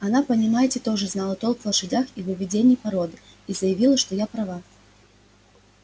она понимаете тоже знала толк в лошадях и в выведении породы и заявила что я права